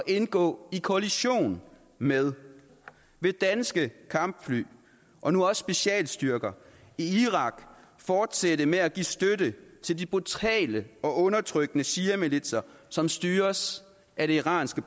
indgå i koalition med vil danske kampfly og nu også specialstyrker i irak fortsætte med at give støtte til de brutale og undertrykkende shiamilitser som styres af det iranske